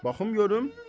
Baxım görüm.